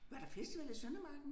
Var der festival i Søndermarken?